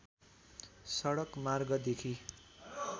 सडक मार्गदेखि